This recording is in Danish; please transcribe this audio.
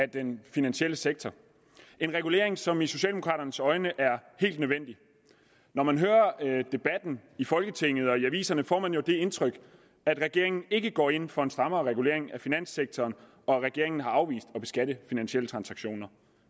den finansielle sektor en regulering som i socialdemokraternes øjne er helt nødvendig når man hører debatten i folketinget og læser i aviserne får man jo det indtryk at regeringen ikke går ind for en strammere regulering af finanssektoren og at regeringen har afvist at beskatte finansielle transaktioner